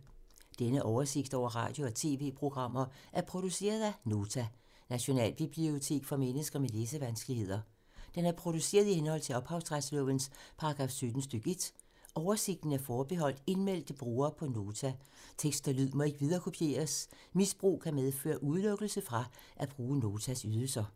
Denne oversigt over radio og TV-programmer er produceret af Nota, Nationalbibliotek for mennesker med læsevanskeligheder. Den er produceret i henhold til ophavsretslovens paragraf 17 stk. 1. Oversigten er forbeholdt indmeldte brugere på Nota. Tekst og lyd må ikke viderekopieres. Misbrug kan medføre udelukkelse fra at bruge Notas ydelser.